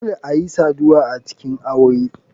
Dole ayi saduwa a cikin aure.